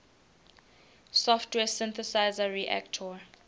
software synthesizer reaktor